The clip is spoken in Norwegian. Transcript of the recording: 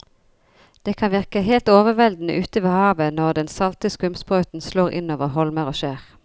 Det kan virke helt overveldende ute ved havet når den salte skumsprøyten slår innover holmer og skjær.